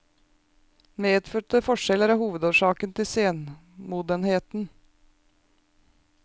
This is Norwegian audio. Medfødte forskjeller er hovedårsaken til senmodenheten.